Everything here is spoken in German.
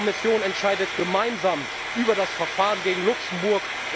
Die Kommission entscheidet gemeinsam über das Verfahren gegen Luxemburg.